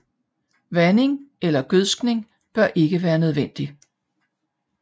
Vanding eller gødskning bør ikke være nødvendig